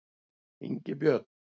Ingibjörn